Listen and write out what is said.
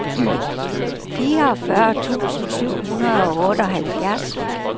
fireogfyrre tusind syv hundrede og otteoghalvfjerds